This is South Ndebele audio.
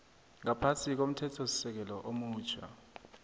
ngaphasi komthethosisekelo omutjha